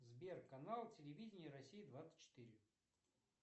сбер канал телевидения россия двадцать четыре